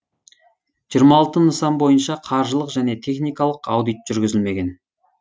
жиырма алты нысан бойынша қаржылық және техникалық аудит жүргізілмеген